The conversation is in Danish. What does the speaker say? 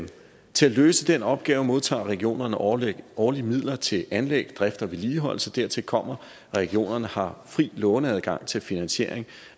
til at løse den opgave modtager regionerne årligt årligt midler til anlæg drift og vedligeholdelse dertil kommer at regionerne har fri låneadgang til finansiering